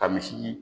Ka misi